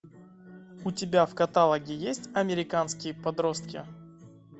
у тебя в каталоге есть американские подростки